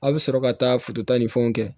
A' bɛ sɔrɔ ka taa fotota ni fɛnw kɛ